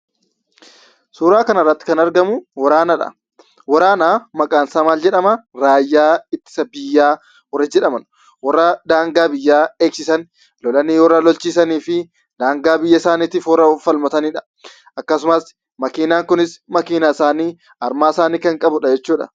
Suuraa kana irratti kan argamuu, waraanadha. Waraana maqaan isaa maal jedhama, raayyaa ittisa biyyaa warra jedhaman, warra daangaa biyyaa eegsisan, lolanii warra lolchiisanii fi daangaa biyya isaanii of falmataniidha. Akkasumas makiinaan kunis makiinaa isaanii, Armaa isaanii kan qabudha jechuudha